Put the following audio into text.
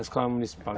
A escola municipal.